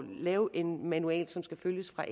lave en manual som skal følges fra